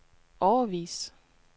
årevis